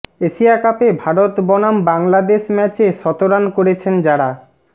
Asia কাপে ভারত বনাম বাংলাদেশ ম্যাচে শতরান করেছেন যারা